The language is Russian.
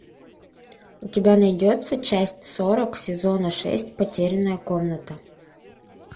у тебя найдется часть сорок сезона шесть потерянная комната